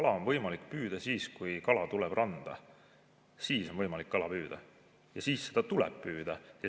Kala on võimalik püüda siis, kui kala tuleb randa, siis on võimalik kala püüda ja siis seda tuleb püüda.